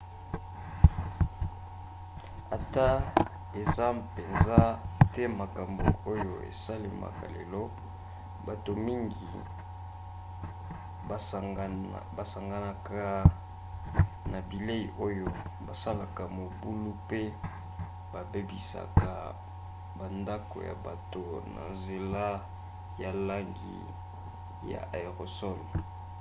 ata eza mpenza te makambo oyo esalemaka lelo bato mingi basanganaka na bilei oyo basalaka mobulu pe babebisaka bandako ya bato na nzela ya langi ya aérosol